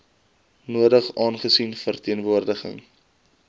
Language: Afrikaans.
nodig aangesien verteenwoordiging